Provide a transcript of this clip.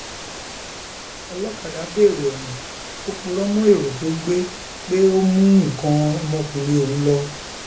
ọlọkadà dèrò ẹwọn ò purọ mọ èrò tó gbé pé ó mú nǹkan ọmọkùnrin òun lọ